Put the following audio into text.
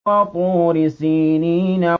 وَطُورِ سِينِينَ